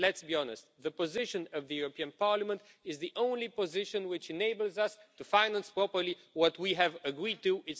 And let's be honest the position of the European Parliament is the only position which enables us to finance properly what we have agreed to do.